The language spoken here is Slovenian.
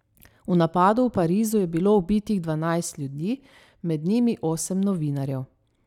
V napadu v Parizu je bilo ubitih dvanajst ljudi, med njimi osem novinarjev.